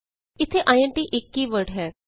ਇਥੇ ਆਈਐਨਟੀ ਇਕ keyword ਹੈ